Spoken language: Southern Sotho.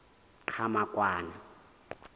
qhamakwane